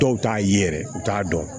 Dɔw t'a ye yɛrɛ u t'a dɔn